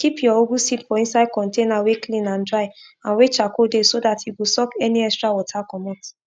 any farm wey dem give person e must waka am um waka am um with family elders before planting go start each season.